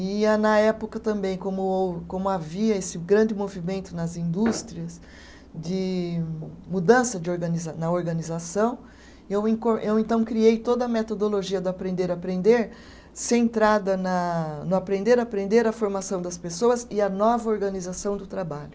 E a, na época eu também, como como havia esse grande movimento nas indústrias de mudança de organiza na organização, eu encor, eu então criei toda a metodologia do aprender a aprender centrada na no aprender a aprender, a formação das pessoas e a nova organização do trabalho.